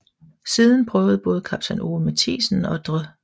Siden prøvede både kaptajn Ove Mathiesen og dr